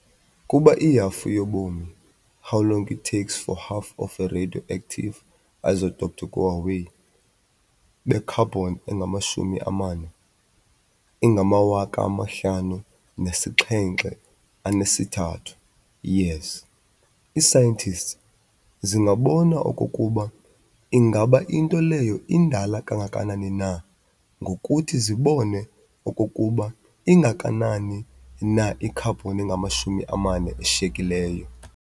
Kuba i-halfu-yobomi, how long it takes for half of a radioactive isotope to go away, be-carbon 14 ingama-5730 years, ii-scientists zingabona okokuba ingaba into leyo indala kangakanani na ngokuthi zibone okokuba ingakanani na i-carbon 14 eshiyekileyo.